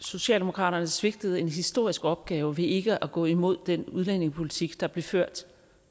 socialdemokratiet svigtede en historisk opgave ved ikke at gå imod den udlændingepolitik der blev ført